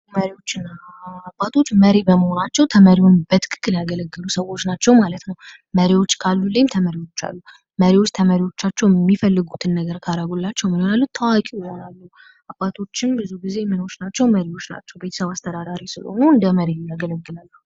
መሪዎችንና አባቶች መሪ በመሆናቸው ተመሪውን በትክክል ያገለገሉ ሰዎች ናቸው ማለት ነው ::መሪዎች ካሉ ሁልጊዜም ተመሪዎች አሉ መሪዎች መሪዎቻቸውን የሚፈልጉትን ነገር ካደረጉላቸው በኋላ ታዋቂ ይሆናሉ :: አባቶቼ ብዙ ጊዜ ምኖች ናቸው መሪዎች ናቸው ቤተሰብ አስተዳዳሪ ስለሆኑ እንደ መሪ የያአገለግላሉ ::